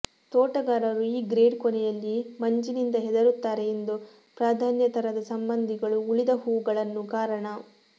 ತೋಟಗಾರರು ಈ ಗ್ರೇಡ್ ಕೊನೆಯಲ್ಲಿ ಮಂಜಿನಿಂದ ಹೆದರುತ್ತಾರೆ ಎಂದು ಪ್ರಾಧಾನ್ಯ ತರದ ಸಂಬಂಧಿಗಳು ಉಳಿದ ಹೂವುಗಳನ್ನು ಕಾರಣ